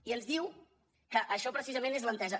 i ens diu que això precisament és l’entesa